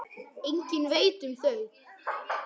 Enginn veit um þau.